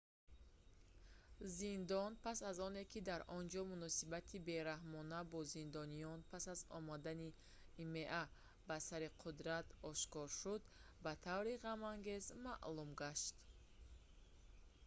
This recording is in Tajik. зиндон пас аз оне ки дар онҷо муносибати бераҳмона бо зиндониён пас аз омадани има ба сари қудрат ошкор шуд ба таври ғамангез маъмул гашт